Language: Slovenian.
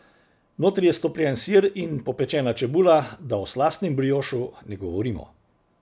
Notri je stopljen sir in popečena čebula, da o slastnem briošu ne govorimo.